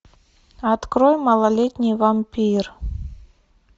открой малолетний вампир